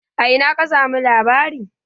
A ina ka samu labari?